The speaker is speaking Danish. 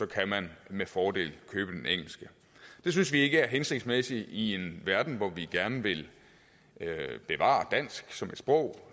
kan man med fordel købe den engelske det synes vi ikke er hensigtsmæssigt i en verden hvor vi gerne vil bevare dansk som sprog